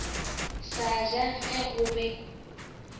sa ja ge go be